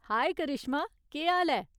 हाए करिश्मा, केह् हाल ऐ ?